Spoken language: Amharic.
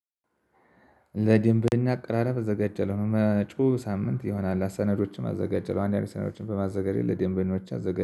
ለድንበኛ አቀራረብ እዘጋጃለሁ መጪው ሳምንት ይሆናል ሰነዶችን አዘጋጀለሁ። አንዳንድ ሰነዶችን በማዘጋጀት ለደንበኞች አዘጋጃለሁ